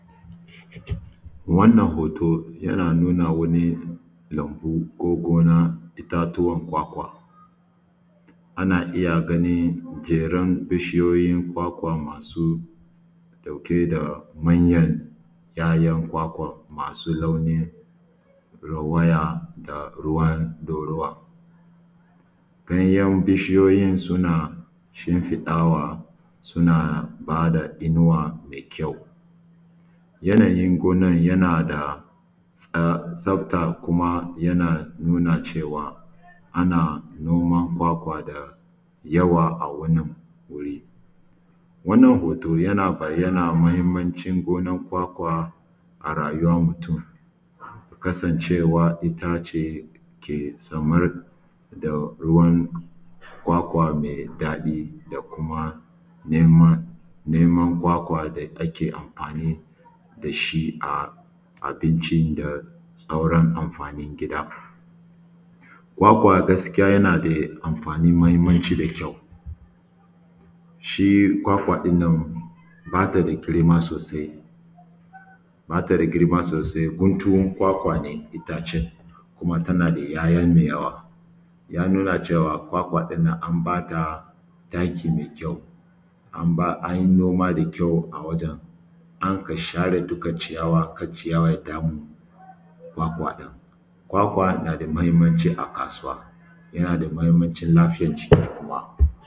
Wannan hoto yana nuna mana lambu ko gona itatuwan kwakwa, ana iya gani jeron bishiyoyin kwakwa masu ɗauuke da manyan ‘ya’yan kwakwan masu launin ɗauraya da ruwan ɗorawa, ganyen bishiyoyin suna shinfiɗawa suna ba da inuwa mai kyau. Yanayin gonan yana da tsafta kuma yana nuna cewa ana noman kwakwa da yawa, a wannan wannan hoto yana bayyana muhinmancin gonan kwakwa a rayuwan mutun kasancewa itace ke samar da ruwan kwakwa me ddaɗi da kuma neman kwakwa da ake amfani da shi a abincin abincin da sauran amfanin gida, kwakwa gaskiya dai yana da amfani mahinmanci da kyau shi kwakwa ɗin nan ba ta jinkiri ma sosai ba ta da girma sosai ba ta da girma sosai guntun kwakwa ne itacen kuma tana da ‘ya’ya me yawa yana cewa kwakwan ɗin nan an ba ta taki me kyau an yi noma me kyau a wajen an ka share duka ciyawan kar ciyawar ya da mu kwakwa ɗin kwakwa na da mahinmanci a kasuwa, yana da mahinmancin lafiyar jiki kuma.